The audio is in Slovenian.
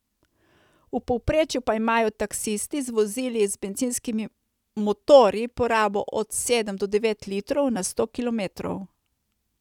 V povprečju pa imajo taksisti z vozili z bencinskimi motorji porabo od sedem do devet litrov na sto kilometrov.